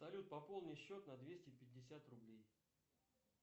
салют пополни счет на двести пятьдесят рублей